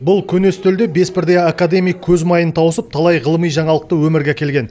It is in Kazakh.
бұл көне үстелде бес бірдей академик көз майын тауысып талай ғылыми жаңалықты өмірге әкелген